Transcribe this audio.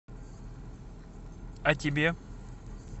о тебе